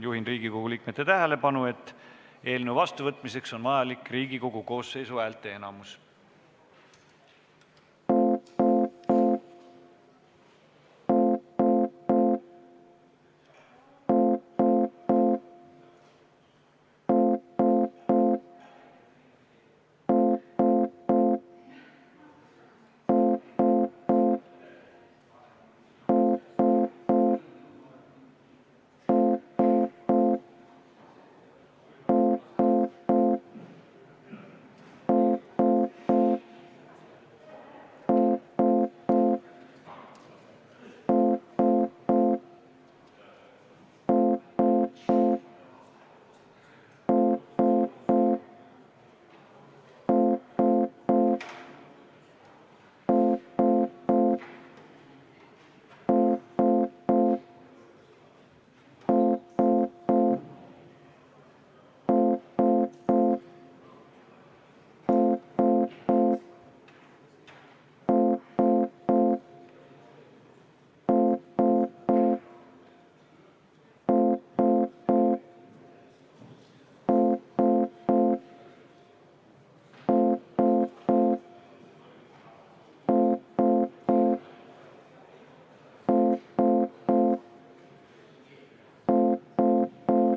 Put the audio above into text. Juhin Riigikogu liikmete tähelepanu sellele, et eelnõu vastuvõtmiseks on vajalik Riigikogu koosseisu häälteenamus.